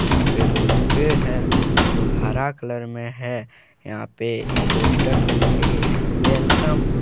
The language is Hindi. यहां पे बहुत पेड़ हैं जो हरा कलर में है यहां पे पोस्टर पे लिखे गए हैं वेलकम ।